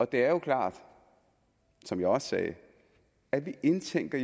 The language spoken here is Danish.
det er jo klart som jeg også sagde at vi indtænker